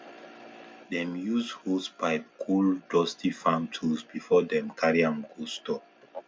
dem use hosepipe cool dusty farm tools before dem carry am go store